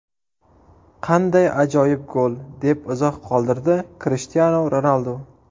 Qanday ajoyib gol!”, deb izoh qoldirdi Krishtianu Ronaldu.